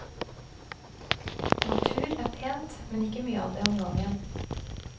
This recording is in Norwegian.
Natur er pent, men ikke mye av det om gangen.